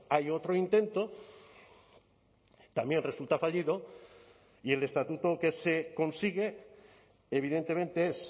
hay otro intento también resulta fallido y el estatuto que se consigue evidentemente es